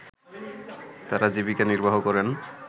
তারা জীবিকা নির্বাহ করেন